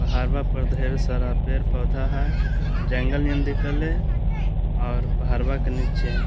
पहाड़वा पर ढेर सारा पेड़-पौधा है जंगल में दिख रहले है और पहाड़वा के नीचे --